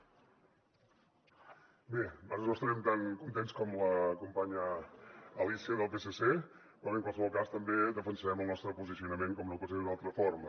bé ara no estarem tan contents com la companya alícia del psc però bé en qualsevol cas també defensarem el nostre posicionament com no pot ser d’una altra forma